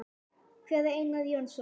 Hver er Einar Jónsson?